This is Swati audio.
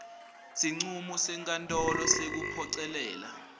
sincumo senkantolo sekuphocelela